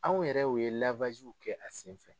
Anw yɛrɛ ye kɛ a senfɛ